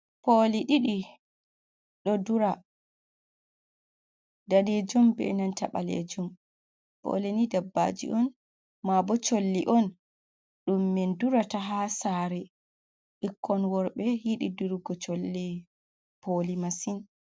Poli ɗidi do dura danejum bennta balejum poli ni dabbaji on ma bo cholli on, dum min durata ha sare bikkkon worbe yidi durugo colli poli masin.